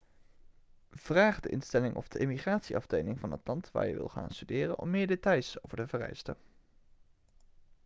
vraag de instelling of de immigratieafdeling van het land waar je wil gaan studeren om meer details over de vereisten